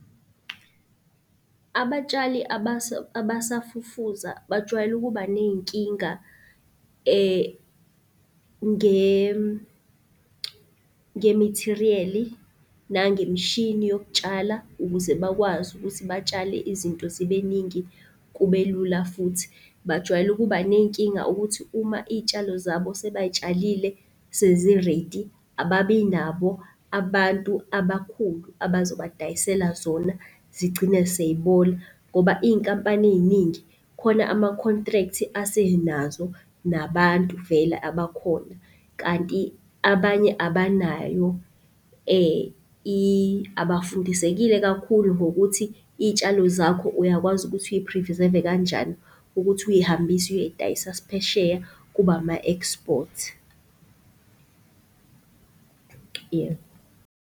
Abatshali abasafufusa bajwayele ukuba ney'nkinga, nge-material nangemshini yokutshala ukuze bakwazi ukuthi batshale izinto zibeningi kubelula futhi. Bajwayele ukuba ney'nkinga ukuthi uma iy'tshalo zabo sebayitshalile, sezi-ready ababinabo abantu abakhulu abazobadayisela zona zigcine sey'bola. Ngoba iy'nkampani ey'ningi khona ama-contract asenazo nabantu vele abakhona. Kanti abanye abanayo, abafundisekile kakhulu ngokuthi iy'tshalo zakho uyakwazi ukuthi uyi-preserve-e kanjani ukuthi uy'hambise uyoy'dayisa phesheya kube ama-export. Yebo.